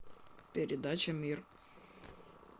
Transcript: передача мир